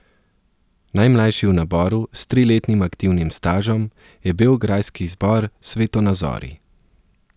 Najmlajši v naboru, s triletnim aktivnim stažem, je beograjski zbor Svetonazori.